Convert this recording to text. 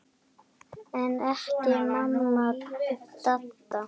En ekki amma Didda.